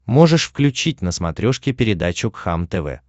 можешь включить на смотрешке передачу кхлм тв